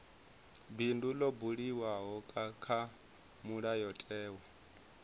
bindu ḽo buliwaho kha mulayotewa